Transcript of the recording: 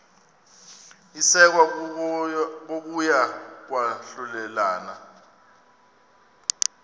isekwa kokuya kwahlulelana